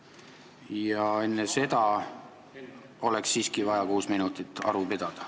Ja enne seda oleks siiski vaja kuus minutit aru pidada.